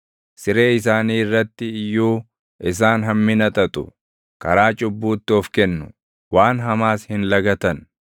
Siree isaanii irratti iyyuu isaan hammina xaxu; karaa cubbuutti of kennu; waan hamaas hin lagatan.